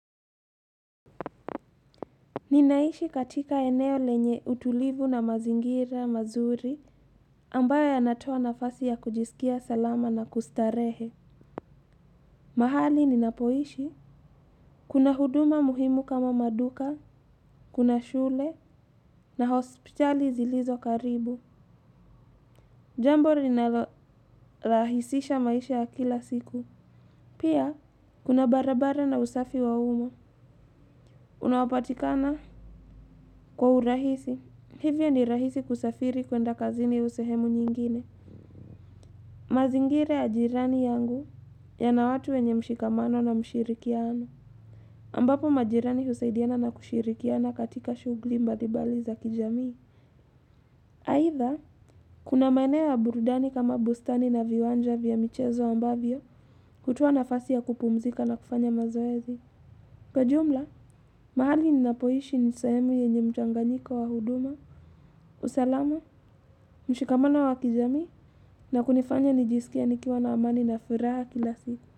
Ninaishi katika eneo lenye utulivu na mazingira mazuri ambayo yanatoa nafasi ya kujisikia salama na kustarehe. Mahali ninapoishi, kuna huduma muhimu kama maduka, kuna shule na hospitali zilizo karibu. Jambo linalolahisisha maisha ya kila siku. Pia kuna barabara na usafi wa uma. Unaopatikana kwa urahisi. Hivyo ni rahisi kusafiri kuenda kazini au sehemu nyingine. Mazingira ya jirani yangu yana watu wenye mshikamano na mshirikiano. Ambapo majirani husaidiana na kushirikiana katika shugli mbalimbali za kijamii. Aidha, kuna maeneo ya burudani kama bustani na viwanja vya michezo ambavyo hutoa nafasi ya kupumzika na kufanya mazoezi. Kwa ujumla, mahali ninapoishi ni sehemu yenye mchanganyiko wa huduma, usalama, mshikamano wa kijamii na kunifanya nijisikie nikiwa na amani na furaha kila siku.